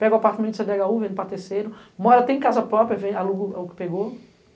Pega o apartamento de cê dê agá u, vende para terceiro, mora, tem casa própria, aluga o que pegou.